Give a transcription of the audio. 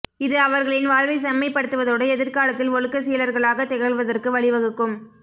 இது அவர்களின் வாழ்வைச் செம்மைப்படுத்துவதோடு எதிர்காலத்தில் ஒழுக்கச் சீலர்களாகத் திகழ்வதற்கு வழிவகுக்கும